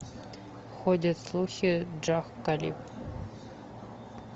ходят слухи джах халиб